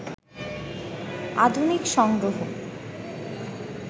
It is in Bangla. আধুনিক সংগ্রহ